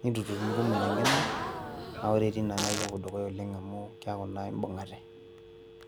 niintutumu ina ngeno na ore teine naa ipopuo dukuya oleng amu keku na imbung'ate.